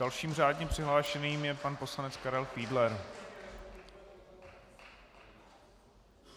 Dalším řádně přihlášeným je pan poslanec Karel Fiedler.